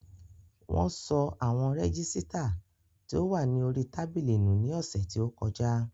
Wón sọ àwọn rẹ́gísítà tí ó wà ní orí tábìlì nù ní ọ̀sẹ̀ tí ó kọjá